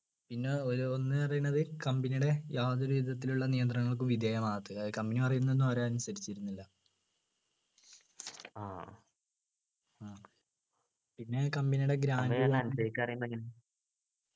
പിന്നെ ഒരു ഒന്നു പറയുന്നത് company ടെ യാതൊരുവിധത്തിലുള്ള നിയന്ത്രണങ്ങൾക്ക് വിധേയമാകാത്തത് അതായത് company പറയുന്നതൊന്നും അവർ അനുസരിച്ചിരുന്നില്ല പിന്നെ company യുടെ